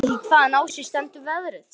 Hún veit ekki hvaðan á sig stendur veðrið.